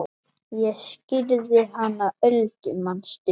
Ég skírði hana Öldu manstu.